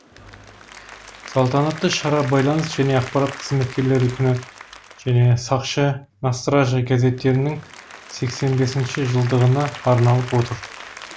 салтанатты шара байланыс және ақпарат қызметкерлері күні және сақшы на страже газеттерінің сексен бесінші жылдығына арналып отыр